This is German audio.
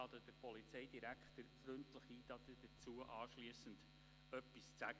Ich lade den Polizeidirektor freundlich ein, anschliessend etwas dazu zu sagen.